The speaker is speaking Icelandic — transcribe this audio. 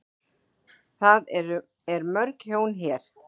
Það er mörg hjón hérna.